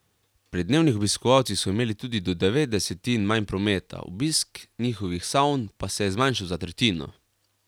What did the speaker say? Pri dnevnih obiskovalcih so imeli tudi do devet desetin manj prometa, obisk njihovih savn pa se je zmanjšal za tretjino.